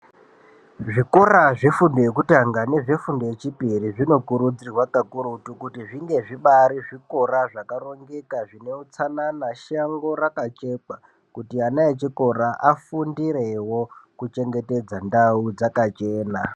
Zvikora zvefundo yekutanga nefundo yechipiri zvinokurudzirwa kakurutu kuti zvinge zvibari zvikora zvakarongeka zvine utsanana , shango rakachekwa kuti ana echikora afundirewo kuchengetedza ndau dzakachena.